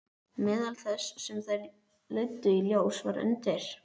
Meðal þess sem þær leiddu í ljós var að undir